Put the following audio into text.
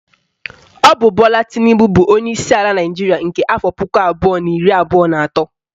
Ọ bụ Bola Tinubu bụ onyeisi ala Naịjiria nke afọ puku abụọ na iri abụọ na atọ